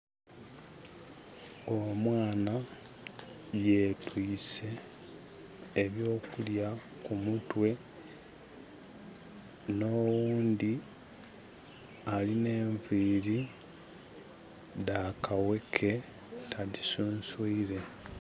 Omwana yetwiise eby'okulya ku mutwe. N'oghundhi alina enviiri dha kaweke. Tadhisunswile.